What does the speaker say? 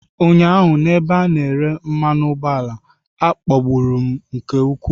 Ụnyaahụ n'ebe a na-ere mmanu ugboala, a kpagburu m nke ukwuu.